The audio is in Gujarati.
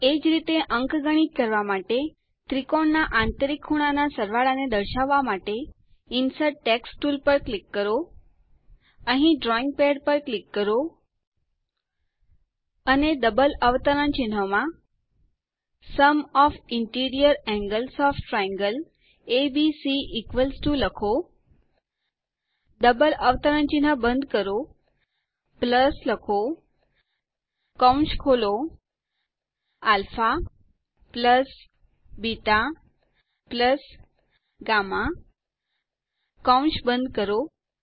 એ જ રીતે અંકગણિત કરવા માટે ત્રિકોણના આંતરિક ખૂણાના સરવાળા ને દર્શાવવા માટે ઇન્સર્ટ ટેક્સ્ટ ટુલ પર ક્લિક કરો અહીં ડ્રોઈંગ પેડ પર ક્લિક કરો અને ડબલ અવતરણ ચિહ્નમાં લખો sum of the interior angles of triangle ABC double અવતરણ ચિહ્ન બંધ કરો પ્લસ કૌશ ખોલો alpha બેટા ગામમાં કૌશ બંધ કરો